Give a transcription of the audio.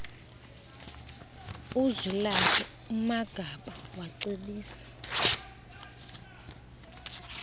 uzwilakhe umagaba wacebisa